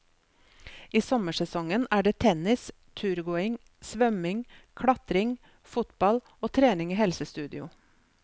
I sommersesongen er det tennis, turgåing, svømming, klatring, fotball og trening i helsestudio.